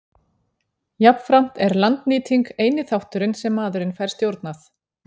Jafnframt er landnýting eini þátturinn sem maðurinn fær stjórnað.